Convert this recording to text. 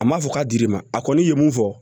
A ma fɔ k'a dir'i ma a kɔni ye mun fɔ